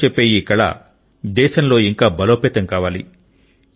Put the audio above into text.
కథలు చెప్పే ఈ కళ దేశంలో ఇంకా బలోపేతం కావాలి